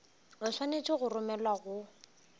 o swanetše go romelwa go